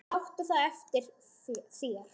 Og láttu það eftir þér.